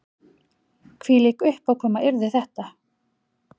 Hvílík uppákoma yrði þetta